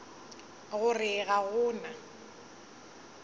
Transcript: go re ga go na